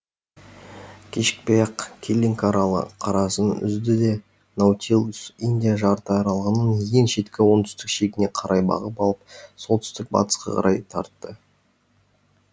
кешікпей ақ киллинг аралы қарасын үзді де наутилус индия жарты аралының ең шеткі оңтүстік шегіне қарай бағыт алып солтүстік батысқа қарай тартты